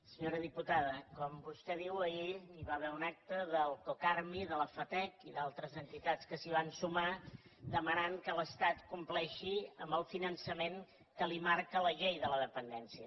senyora diputada com vostè diu ahir hi va haver un acte del cocarmi de la fatec i d’altres entitats que s’hi van sumar que demanaven que l’estat compleixi amb el finançament que li marca la llei de la dependència